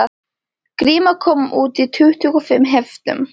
Gríma kom út í tuttugu og fimm heftum